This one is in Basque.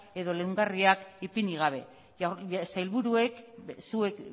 edo leungarriak ipini gabe sailburuek zuek